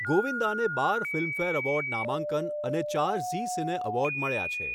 ગોવિંદાને બાર Filmfare award નામાંકન અને ચાર ઝી સિને એવોર્ડ મળ્યા છે.